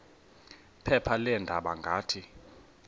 phepha leendaba ngathi